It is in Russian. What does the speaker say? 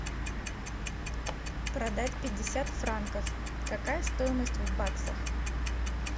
продать пятьдесят франков какая стоимость в баксах